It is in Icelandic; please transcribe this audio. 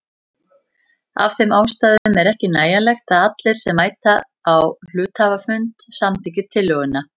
Af þeim ástæðum er ekki nægjanlegt að allir sem mæta á hluthafafund samþykki tillöguna.